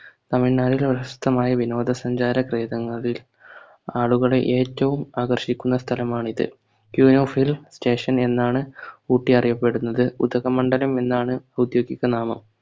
തമിഴ്നാട്ടിലെ പ്രശസ്തമായ വിനോദസഞ്ചാര ക്രെതങ്ങലിൽ ആളുകളെ ഏറ്റവും ആകർഷിക്കുന്ന സ്ഥലമാണിത് queen of hill station എന്നാണ് ഊട്ടി അറിയപ്പെടുന്നത് ഉധകമണ്ഡലം എന്നാണ് ഔദ്യോഗിക നാമം